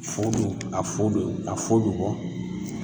Fu dun,a fu dun, a fu bi bɔ